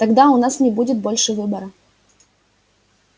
тогда у нас не будет больше выбора